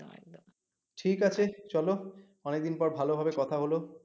ঠিক আছে চলো অনেকদিন পর ভালভাবে কথা হলো